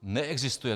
Neexistuje -